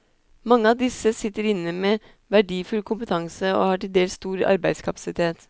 Mange av disse sitter inne med verdifull kompetanse, og har til dels stor arbeidskapasitet.